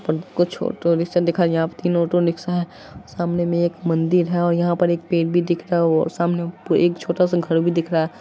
पर कुछ auto rickshaw दिखाई यहां पर तीन ऑटो रिक्शा है। सामने में एक मंदिर है और यहां पर एक पेड़ भी दिख रहा है और वो सामने एक छोटा-सा घर भी दिख रहा है